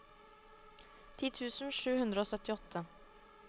ti tusen sju hundre og syttiåtte